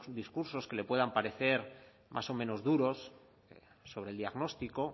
discursos que le puedan parecer más o menos duros sobre el diagnóstico